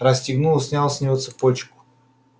расстегнул и снял с неё цепочку